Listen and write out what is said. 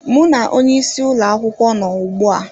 Mụ na onye isi ụlọ akwụkwọ nọ ugbu a